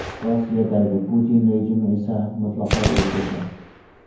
Rossiyadagi Putin rejimi esa mutlaqo o‘zgacha.